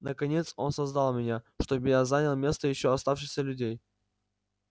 наконец он создал меня чтобы я занял место ещё оставшихся людей